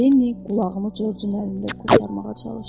Lenni qulağını Corcun əlində qurtarmağa çalışdı.